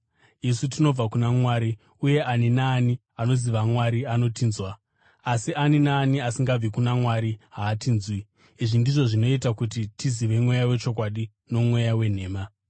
Isu tinobva kuna Mwari, uye ani naani anoziva Mwari anotinzwa; asi ani naani asingabvi kuna Mwari haatinzwi. Izvi ndizvo zvinoita kuti tizive mweya wechokwadi nomweya wenhema.